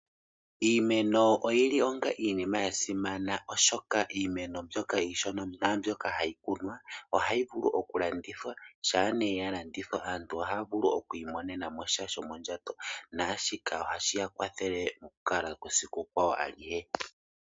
Iimeno oyili onga iinima yasimana oshoka iimeno mbyoka iishona naambyoka hayi kunwa ohayi vulu okulandithwa shampa ne yalandithwa aantu ohaya vulu okwiimonenamo sha shomondjato naashika ohashiya kwathele mokukala kwesiku kwawo alihe.